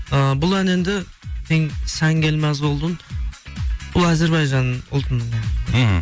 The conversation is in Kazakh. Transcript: ыыы бұл ән енді сән гилмәз олдуң бұл әзірбайжан ұлтының мхм